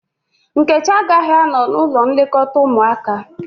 Nkechi agaghị anọ n´ụlọ nlekọta ụmụaka.